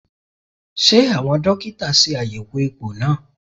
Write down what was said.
Ṣé àwọn dókítà ṣe àyẹ̀wò egbò náà?